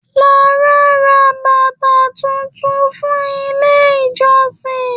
Lára rà bàtà títún fún ilé ìjọsìn.